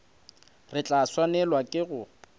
re tla swanelwa ke go